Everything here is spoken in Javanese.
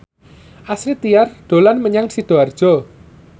Astrid Tiar dolan menyang Sidoarjo